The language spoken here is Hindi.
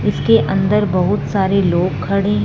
इसके अंदर बहुत सारे लोग खड़े हैं।